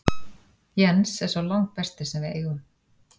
Jens er sá langbesti sem við eigum.